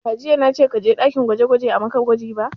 Ba jiya na ce ka je ɗakin gwaje gwaje a maka gwaji ba!